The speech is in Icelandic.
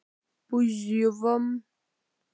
Hver væri ekki til í að þetta væri Laugardalsvöllur?